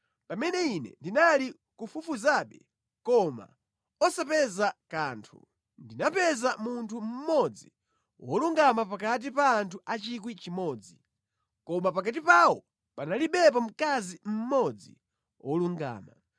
pamene ine ndinali kufufuzabe koma osapeza kanthu, ndinapeza munthu mmodzi wolungama pakati pa anthu 1,000, koma pakati pawo panalibepo mkazi mmodzi wolungama.